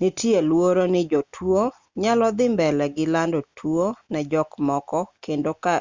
nitie luoro ni jotuo nyalo dhi mbele gi lando tuo ne jok moko kendo ka